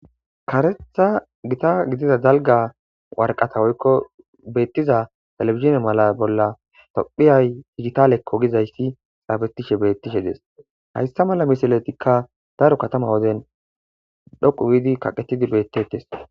karetha gita gidida dalga warqata woykko beettiza telebizhine mala bolla tophiyay dijitalekko gizayssi xaafetishe beettishe dees hayssa mala misiletikka daro katama ogezen dhoqu giidi kaqetidi bettettes.